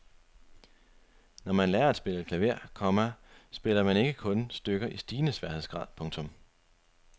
Når man lærer at spille klaver, komma spiller man ikke kun stykker i stigende sværhedsgrad. punktum